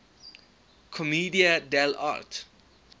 commedia dell arte